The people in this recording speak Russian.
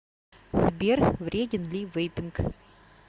сбер вреден ли вейпинг